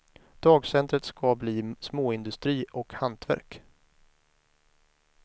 Dagcentret ska bli småindustri och hantverk.